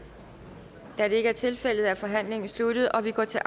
da det ikke er tilfældet er forhandlingen sluttet og vi går til